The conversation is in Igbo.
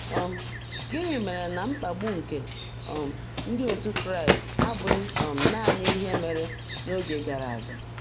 um Gịnị mere na mkpagbu nke um ndị otu Kraịst abụghị um naanị ihe mere n’oge gara aga?